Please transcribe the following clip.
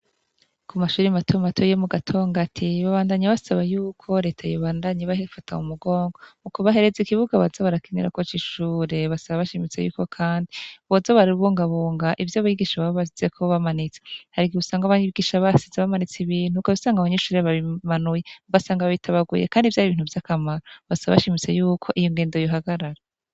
Ku mashuri matuma matu iyo mu gatonga ati babandanyi basaba yuko reta yebandanyi bahefata mu mugongo mu kubahereza ikibuga bazabarakinira kocaishure basa bashimitse yuko, kandi bwozabara bbungabunga ivyo bigisha bababasize kubabamanitsa harigi busanga abanigisha basize bamanitse ibintu uko bisanga abanyishure babimanuye mubasanga ba bitabaguye, kandi vyoabia vy'a kamara basa bashimise yuko iyo ngendo yuhagarara.